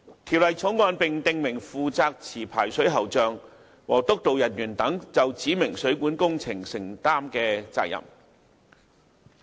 《條例草案》並訂明負責持牌水喉匠和督導人員等就指明水管工程承擔的責任。